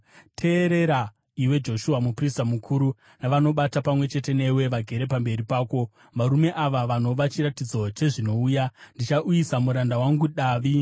“ ‘Teerera, iwe Joshua muprista mukuru navanobata pamwe chete newe vagere pamberi pako, varume ava vanova chiratidzo chezvinouya: Ndichauyisa muranda wangu, Davi.